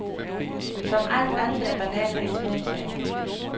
Som alt andet er bananer en smagssag.